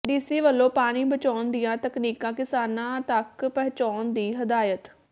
DC ਵਲੋਂ ਪਾਣੀ ਬਚਾਉਣ ਦੀਆਂ ਤਕਨੀਕਾਂ ਕਿਸਾਨਾਂ ਤੱਕ ਪਹੰੁਚਾਉਣ ਦੀ ਹਦਾਇਤ